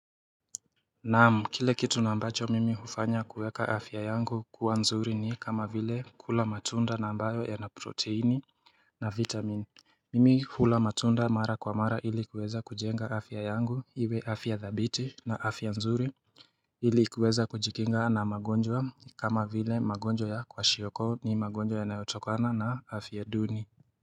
Naam, kile kitu na ambacho mimi hufanya kuweka afya yangu kuwa nzuri ni kama vile, kula matunda na ambayo ya na protini na vitamini. Mimi hula matunda mara kwa mara ili kuweza kujenga afya yangu iwe afya dhabiti na afya nzuri Ili kuweza kujikinga na magonjwa kama vile magonjwa ya kwashiorkor, ni magonjwa yanayotokana na afya duni.